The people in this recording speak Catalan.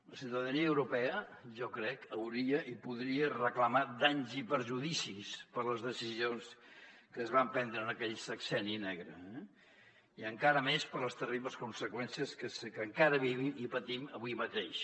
la ciutadania europea jo crec hauria i podria reclamar danys i perjudicis per les decisions que es van prendre en aquell sexenni negre eh i encara més per les terribles conseqüències que encara vivim i patim avui mateix